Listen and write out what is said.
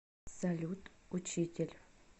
салют учитель